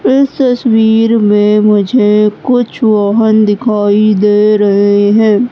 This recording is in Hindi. इस तस्वीर में मुझे कुछ वाहन दिखाई दे रहे हैं।